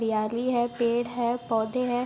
हरियाली है पेड़ है पौधे हैं।